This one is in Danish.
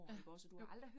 Ja, jo